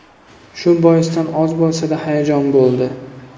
Shu boisdan oz bo‘lsa-da hayajon bo‘ldi.